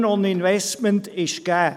Der Return on Investment ist gegeben.